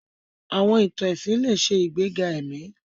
Àwọn ìtàn ẹ̀sìn lè ṣe ìgbéga ẹ̀mí.